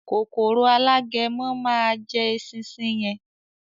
“Kòkòrò Alágẹmọ” má a jẹ “esinsin” yẹn.